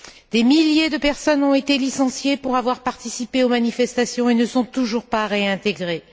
Des milliers de personnes ont été licenciées pour avoir participé aux manifestations et ne sont toujours pas réintégrées.